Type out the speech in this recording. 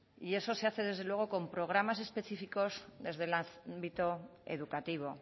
y eso se hace desde luego con programas específicos desde el ámbito educativo